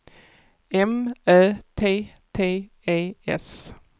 M Ö T T E S